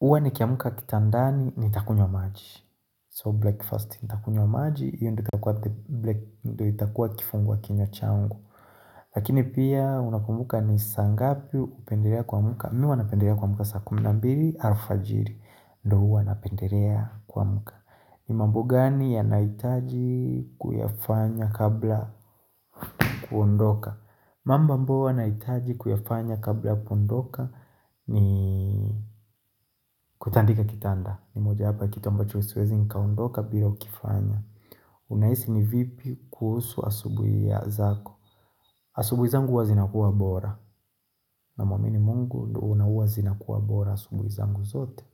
Uwa ni kiamuka kitandani, nitakunywa maji. So break first, nitakunywa maji, hiyo ndo itakua kifungua kinywa changu. Lakini pia, unapumbuka ni saa ngapi upendelea kuamka. Mi wanapendelea kamka saa kumi na mbili alfajiri ndo huwanapendelea kuamka ni mambo gani ya naitaji kuyafanya kabla kuondoka mambo ambayo huanaitaji kuyafanya kabla kuondoka ni kutandika kitanda ni moja hapa kitendo choisiwezi nikaondoka bila ukifanya Unaisi ni vipi kuhusu asubui ya zako asubuhi zangu huwazinakuwa bora na mwamini mungu ndohuwazinakuwa bora asubui zangu zote.